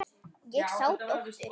Ég sá dóttur.